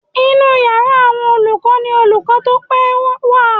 Inú yàrá àwọn olùkọ́ ni olùkọ́ tó ń pè ẹ́ wà